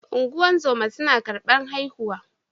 Ungozoma suna karban haihuwa.